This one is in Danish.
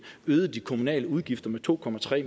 øgede de kommunale udgifter med to